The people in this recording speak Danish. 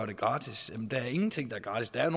det gratis jamen der er ingenting der er gratis der er